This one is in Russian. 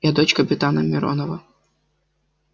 я дочь капитана миронова